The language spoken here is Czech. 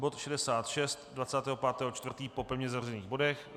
Bod 66, 25. 4. po pevně zařazených bodech.